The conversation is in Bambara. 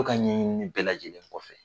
ko ka ɲɛɲi ni bɛɛ lajɛlen kɔfɛ